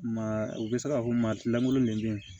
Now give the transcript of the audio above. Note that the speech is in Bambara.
Maa u bɛ se k'a fɔ maa lankolon ne bɛ yen